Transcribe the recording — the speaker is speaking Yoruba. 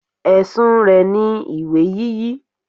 Ẹ̀sùn rẹ̀ ni ìwé yíyí.